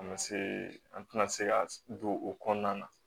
A ma se an tɛna se ka don o kɔnɔna na